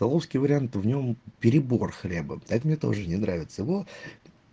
столовский вариант в нем перебор хлеба а это мне тоже не нравится его